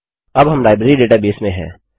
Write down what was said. अब हम library database में हैं